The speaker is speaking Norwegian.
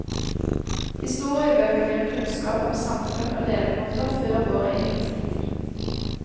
Historiebøker gir kunnskap om samfunn og levemåter før vår egen tid.